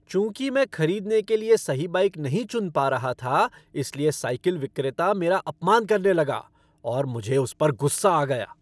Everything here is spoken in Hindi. चूंकि मैं खरीदने के लिए सही बाइक नहीं चुन पा रहा था इसलिए साइकिल विक्रेता मेरा अपमान करने लगा और मुझे उस गुस्सा आ गया।